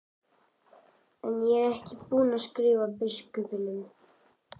En ég er ekki búinn að skrifa biskupnum.